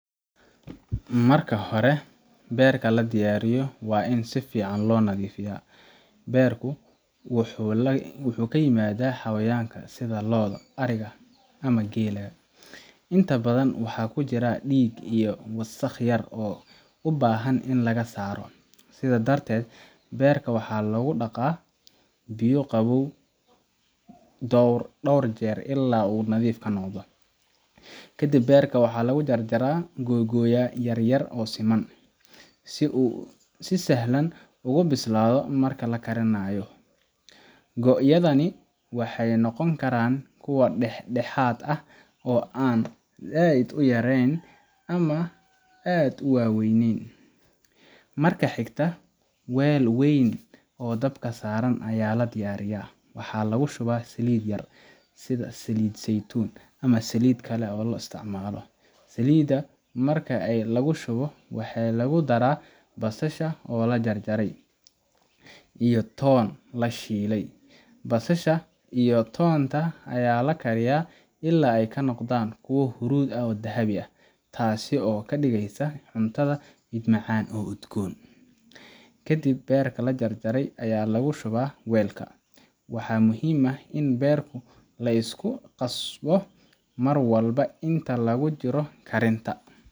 Marka hori beerta ladiyariyoh wa in sifican lo nathifayah , beerku waxu kayimadah xawayanga sitha loodah ariga amah keelah , intabathan waxakujiroh deeg iyo wasaq yar oo u bahan ini lagasoasroh sethandarded beerka waxa lau daqa biyo qabow doorjer ila oo nathif kanoqoh, kadib beerka waxa lagu jarjara lagogy ya yaryar oo seman si sahlan ugu bislathoh marka lagarinayoh, koyadani waxa noqoni Karan kuwa add u waweyn waxa lagushubah Salida amah Salida zeytun Salida marka Aya lagushubtoh waxalagu darah basasha oo lajarjarah iyoh toon lashelay basasha iyo toonta Aya lagariyoh ila aykanoqdan kuwa hurudi aah oo dhabi oo kadigeysoh cuntaha mid udgoon kadib beerka lajarjarah Aya lagu shubah weelka waxa muhim aah in beerku liskuqasboh marwalba inta lagujiroh karinta.